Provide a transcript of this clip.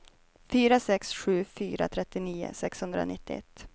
fyra sex sju fyra trettionio sexhundranittioett